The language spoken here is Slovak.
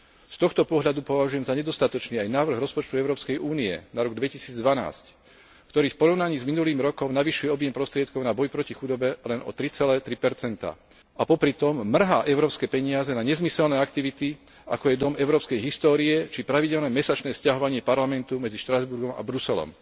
Z tohto pohľadu považujem za nedostatočný aj návrh rozpočtu Európskej únie na rok 2012, ktorý v porovnaní s minulým rokom navyšuje objem prostriedkov na boj proti chudobe len o 3,3 a popritom mrhá európske peniaze na nezmyselné aktivity, ako je dom európskej histórie či pravidelné mesačné sťahovanie Parlamentu medzi Štrasburgom a Bruselom.